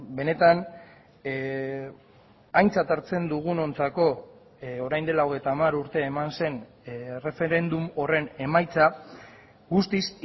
benetan aintzat hartzen dugunontzako orain dela hogeita hamar urte eman zen erreferendum horren emaitza guztiz